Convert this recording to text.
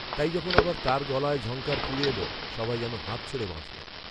তাই যখন আবার তার গলায় ঝঙ্কার ফিরে এলো, সবাই যেন হাঁফ ছেড়ে বাঁচল